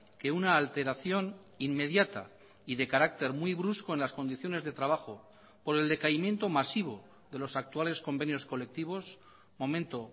que una alteración inmediata y de carácter muy brusco en las condiciones de trabajo por el decaimiento masivo de los actuales convenios colectivos momento